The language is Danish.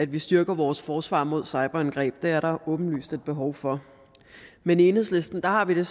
at vi styrker vores forsvar mod cyberangreb det er der åbenlyst et behov for men i enhedslisten har vi det